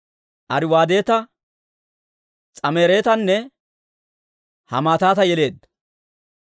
Ariwaadeta, S'amaaretanne Hamaatata yeleedda.